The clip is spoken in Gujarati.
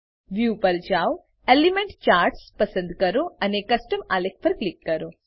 વ્યૂ પર જાવ એલિમેન્ટ ચાર્ટ્સ પસંદ કરો અને કસ્ટમ આલેખ પર ક્લિક કરો